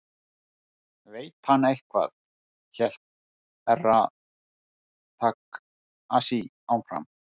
Veit hann eitthvað hélt Herra Takashi áfram.